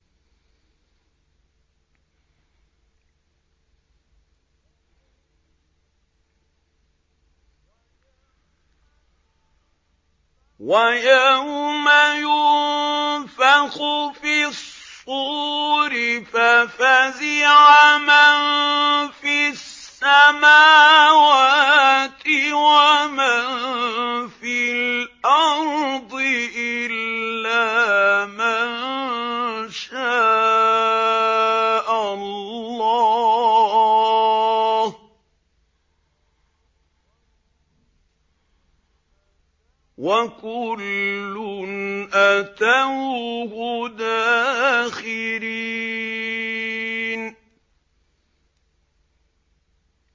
وَيَوْمَ يُنفَخُ فِي الصُّورِ فَفَزِعَ مَن فِي السَّمَاوَاتِ وَمَن فِي الْأَرْضِ إِلَّا مَن شَاءَ اللَّهُ ۚ وَكُلٌّ أَتَوْهُ دَاخِرِينَ